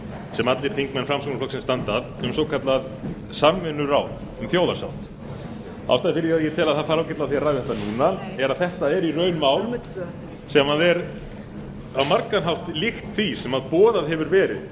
ég tel að það fari ágætlega á því að ræða þetta núna er að þetta er í raun mál sem er á margan hátt líkt því sem boðað hefur verið